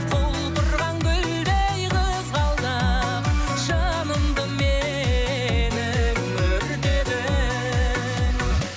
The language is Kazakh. құлпырған гүлдей қызғалдақ жанымды менің өртедің